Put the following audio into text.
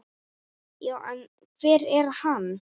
Já, en hver er hann?